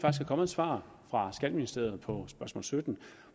er kommet svar fra skatteministeriet på spørgsmål sytten